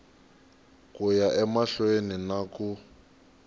ku ya emahlweni na ku